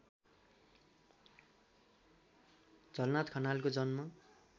झलनाथ खनालको जन्म